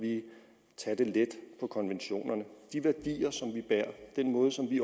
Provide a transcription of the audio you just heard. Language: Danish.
tage let på konventionerne de værdier som vi bærer den måde som vi